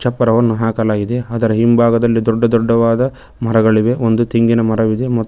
ಚಪ್ಪರವನ್ನು ಹಾಕಲಾಗಿದೆ ಅದರ ಹಿಂಭಾಗದಲ್ಲಿ ದೊಡ್ಡ ದೊಡ್ಡವಾದ ಮರಗಳಿವೆ ಒಂದು ತೆಂಗಿನ ಮರವಿದೆ ಮತ್ತು--